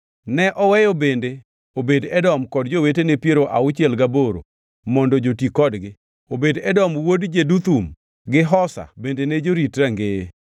Ne oweyo bende Obed-Edom kod jowetene piero auchiel gaboro mondo joti kodgi. Obed-Edom wuod Jeduthun to gi Hosa bende ne jorit rangeye.